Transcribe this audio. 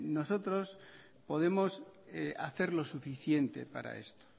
nosotros podemos hacer lo suficiente para esto